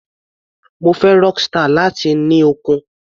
Mo fẹ́ Rockstar, láti ní okun.